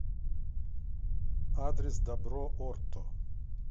адрес добро орто